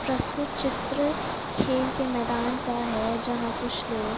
प्रस्तुत चित्र खेल के मैदान का है जहाँ कुछ लोग--